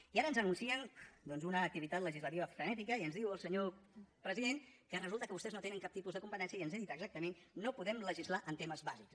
i ara ens anuncien doncs una activitat legislativa frenètica i ens diu el senyor president que resulta que vostès no tenen cap tipus de competència i ens ha dit exactament no podem legislar en temes bàsics